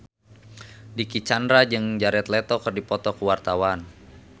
Dicky Chandra jeung Jared Leto keur dipoto ku wartawan